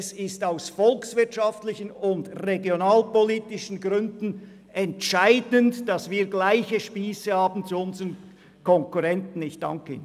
Es ist aus volkswirtschaftlichen und regionalpolitischen Gründen entscheidend, dass wir gleich lange Spiesse wie unsere Konkurrenten haben.